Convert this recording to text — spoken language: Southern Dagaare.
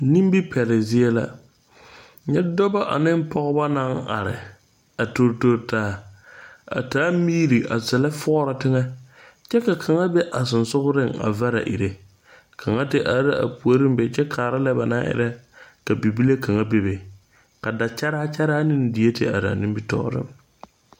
Nimi pɛliŋ zie la. Nyɛ dɔbɔ ane pɔgɔbɔ na are a tor tor taa. A taa miire a zɛle fɔɔra teŋe. Kyɛ ka kanga be a susugreŋa vara irrɛ. Kanga te are a pooreŋ be kyɛ kaara le ba na irrɛ ka bibile kanga bebe. Ka da kyaraa kyaraa ne die te are a nimitooreŋ